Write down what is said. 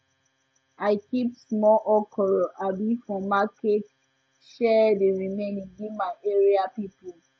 i keep small okra um for market share di remaining give my area people